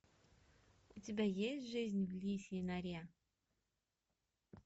у тебя есть жизнь в лисьей норе